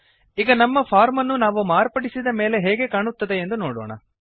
ಈಗ ನಮ್ಮ ಫಾರ್ಮ್ ಅನ್ನು ನಾವು ಮಾರ್ಪಡಿಸಿದ ಮೇಲೆ ಹೇಗೆ ಕಾಣುತ್ತದೆಯೆಂದು ನೋಡೋಣ